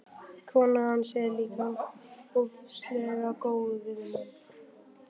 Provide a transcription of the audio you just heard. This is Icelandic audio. Konan hans er líka ofsalega góð við mann.